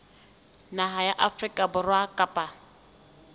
naha ya afrika borwa kapa